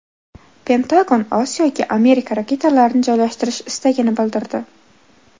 Pentagon Osiyoga Amerika raketalarini joylashtirish istagini bildirdi.